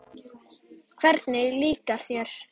Hvernig líkar þér?